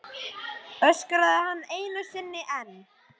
öskraði hann einu sinni enn.